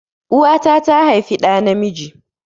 Uwa ta tà haifi dà na miji